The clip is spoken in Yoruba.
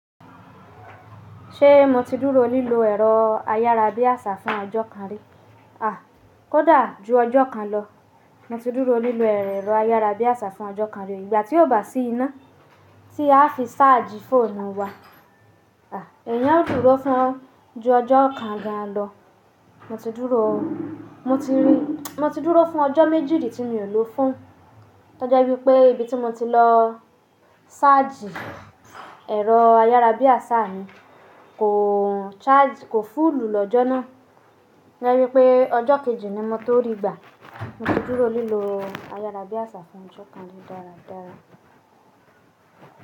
Ṣé mo ti dúró lílo ẹ̀rọ ayárabíàṣá fún ọjọ́ kan rí? À, kó dà ju ọjọ́ kan lọ. Mo ti dúró lílo ẹ̀rọ ayárabíàṣá fún ọjọ́ kan rí. Ìgbà tí ó bá sí iná tí a fi ṣáàjì fóònù wa. À, ẹ̀yin á dúró fún ju ọjọ́ kan gan lọ. Mo ti dúró, mo ti rí, mo ti dúró fún ọjọ́ méjì ri tí mi ò lọ fon. Tọ́je wípé ibi tí mo ti lọ ṣáàjì ẹ̀rọ ayárabíàṣá mi kò charge, kò full lọ́jọ́ náà. Jáwé pé ọjọ́ kejì ni mo tó rí i gbà. Mo ti dúró lílo ayárabíàṣá fún ọjọ́ kan rí dáradára.